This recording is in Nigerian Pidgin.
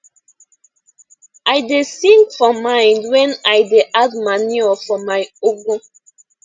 i da sing for mind when i da add manure for my ugu